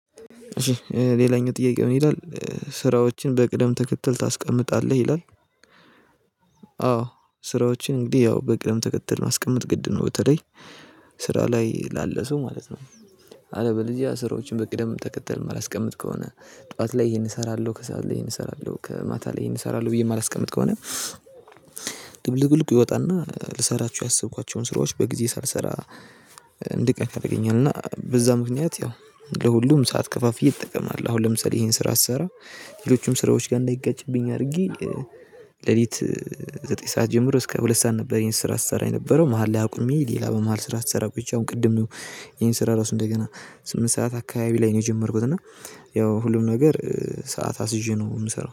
ሌላኛው ጥያቄ ምን ይላል? ስራዎችን በቅደም ተከትል ታስቀምጣለህ ይላል። አዎ ስራዎችን እንግዲህ ያው በቅድም ተከተል ማስቀመጥ ግድ ነው በተለይ ስራ ላይ ላለ ሰው ማለት ነው። አለበለዚያ ስራዎችን በቅደም ተከተል የማላስቀምጥ ከሆነ ጠዋት ላይ ይሄን እሰራለሁ ከሰአት ላይ ይሄን እሰራለሁ ከማታ ላይ ይሄን እሰራለሁ ብዬ የማላስቀምጥ ከሆነ። ድብልቅልቁ ይወጣና ልሰራቸው ያሰብኳቸውን ስራዎች በጊዜ ሳልሰራ እንድቀር ያደርገኛል። እና በዛ ምክንያት ያው ለሁሉም ሰዓት ከፋፍዬ እጠቀማለሁ። አሁን ለምሳሌ ይሄን ስራ ስሰራ ሌሎችስ ስራዎች ጋር እንዳይጋጭብኝ አድርጌ ሌሊት ዘጠኝ ሰዓት ጀምሮ እስከ ሁለት ሰዓት ነበር። የኔን ስራ ስሰራ የነበረው መሃል ላይ አቁሜ ሌላ በመሃል ስራ ስሰራ ብቻ አሁን ቅድም ነው። ይሄን ስራ ራሱ እንደገና ስምንት ሰዓት አካባቢ ላይ ነው የጀመርኩት እና ያው ሁሉም ነገር ሰዓት አሲዤ ነው የምሰራው